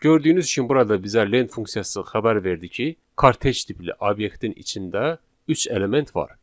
Gördüyünüz kimi burada bizə len funksiyası xəbər verdi ki, kartej tipli obyektin içində üç element var.